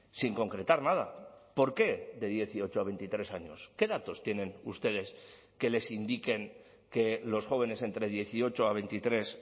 sin concretar nada por qué de dieciocho a veintitrés años qué datos tienen ustedes que les indiquen que los jóvenes entre dieciocho a veintitrés